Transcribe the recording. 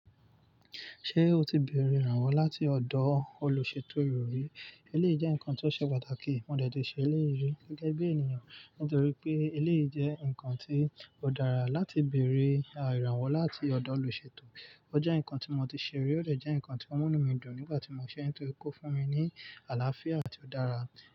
Ṣé o ti bèrè ìrànwọ́ láti ọ̀dọ̀ olùṣètò ìròyìn? Eleyi jẹ́ nǹkan tí ó ṣe pàtàkì. Mo dẹ̀ tì ṣe eleyi rì gẹ́gẹ́ bí ènìyàn nítorí pé eleyi jẹ́ nǹkan tí ó dára láti bèrè ìrànwọ́ láti ọ̀dọ̀ olùṣètò. Ó jẹ́ nǹkan tí mo ti ṣe rí, ó de jẹ́ nǹkan tí ó mú inumi dùn nígbà tí mo ṣe é nítorí kó fún mi ní àlàáfíà àti ó dára.